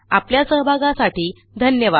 आपल्या सहभागासाठी धन्यवाद